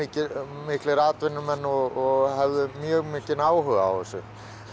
miklir atvinnumenn og höfðu mjög mikinn áhuga á þessu